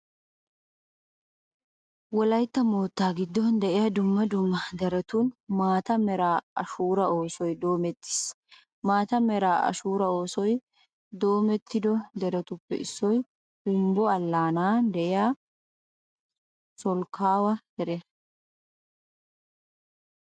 Wolaytta moottaa giddon de'iya dumma dumma deretun maata mera ashuuraa oosoy doomettiis. maata mera ashuuraa oosoy doomettido deretuppe issoy humbbo allaanan de'iya solkkuwa deriya.